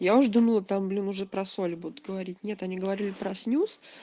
я уж думала там блин уже про соль будут говорить нет они говорили про снюс